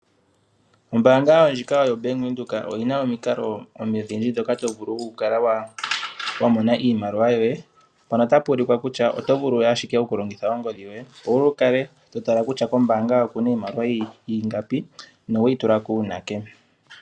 Ombanga ndjika yoBank Windhoek oyi na omikalo odhindji ndhoka to vulu okukala wa mona iimaliwa yoye mpano ota puulikwa kutya oto vulu ashike okulongitha ongodhi yoye opo wu kale totala kutya kombanga yoye okuna iimaliwa ingapi noweyi tulako uunake.